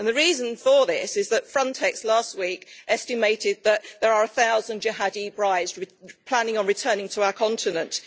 The reason for this is that Frontex last week estimated that there are a thousand jihadi brides planning on returning to our continent.